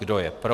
Kdo je pro?